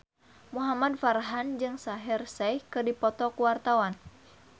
Muhamad Farhan jeung Shaheer Sheikh keur dipoto ku wartawan